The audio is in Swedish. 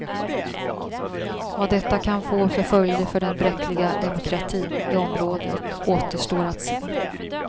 Vad detta kan få för följder för den bräckliga demokratin i området återstår att se.